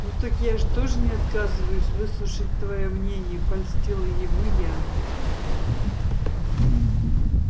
ну так я же тоже не отказываюсь выслушать твоё мнение польстила ему я